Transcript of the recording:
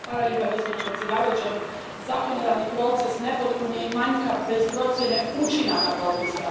Gospođo predsjedavajuća, zakonodavni proces nepotpun je i manjkav bez procjene učinaka propisa.